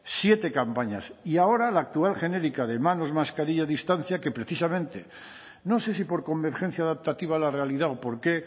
siete campañas y ahora la actual genérica de manos mascarilla distancia que precisamente no sé si por convergencia adaptativa a la realidad o por qué